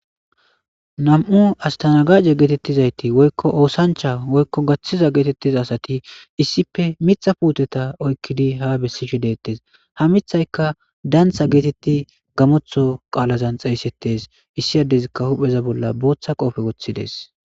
Astanagaje getetizayti woykon osancha woykon gathiza getetiza asati issippe mitha putteta oykidi ha besishe detes ha mithayka dantha geteti gamotho qalan xeyigetes issi adey hupheza bolla botha qope wothides